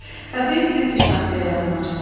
Kafeyə girib piştaxtaya yaxınlaşdı.